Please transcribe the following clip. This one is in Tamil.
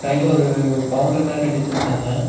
சைட்ல ஒரு பவுன்ட்ரி மாரி கட்டி வெச்சிருக்காங்க.